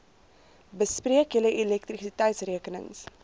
bespreek julle elektrisiteitsrekenings